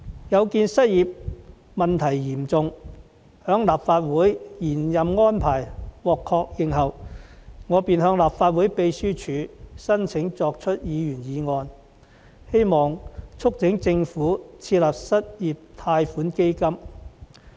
有見失業問題嚴重，在立法會延任安排獲確認後，我便向立法會秘書處申請提出議員議案，希望促請政府設立失業貸款基金。